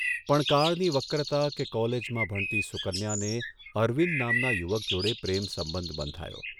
પણ કાળની વક્રતા કે કોલેજમાં ભણતી સુકન્યાને અરવિંદ નામના યુવક જોડે પ્રેમસંબંધ બંધાયો.